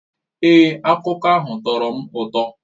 Èé, akụkọ ahụ tọrọ m ụtọ